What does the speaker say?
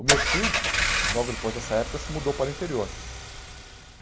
O meu tio, logo depois dessa época, se mudou para o interior.